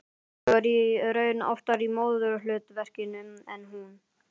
Ég var í raun oftar í móðurhlutverkinu en hún.